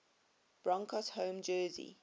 broncos home jersey